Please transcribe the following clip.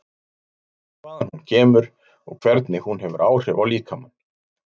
Hvaðan hún kemur og hvernig hún hefur áhrif á líkamann?